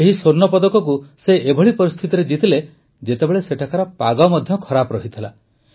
ଏହି ସ୍ୱର୍ଣ୍ଣପଦକ ସେ ସେଭଳି ପରିସ୍ଥିତିରେ ଜିତିଲେ ଯେତେବେଳେ ସେଠାକାର ପାଗ ମଧ୍ୟ ଖରାପ ଥିଲା